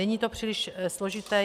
Není to příliš složité.